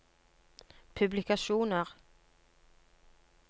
publikasjoner